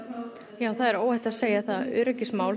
já það er óhætt að segja öryggismál